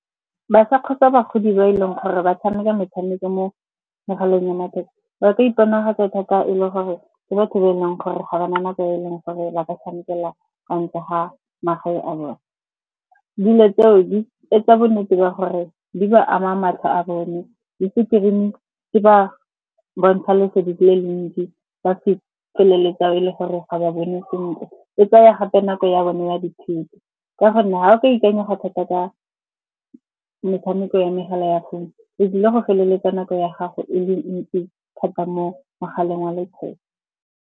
Ba sa kgotsa bagodi ba e leng gore ba tshameka metshameko mo megaleng ya matheka. Ba ka iponagatse thata e le gore ke batho ba e leng gore ga ba na nako e leng gore ba ka tshamekela kwa ntle ga magae a bone. Dilo tseo di etsa bonnete ba gore di ba ama matlho a bone, le screen-e di ba bontsha lesedi le le ntsi, ba se feleletsa e le gore ga ba bone sentle. E tsaya gape nako ya bone ya dithuto, ka gonne ga o ka ikanyega thata ka metshameko ya megala ya founu o tlile go feleletsa nako ya gago e le ntsi thata mo mogaleng wa letheka.